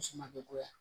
Muso ma goya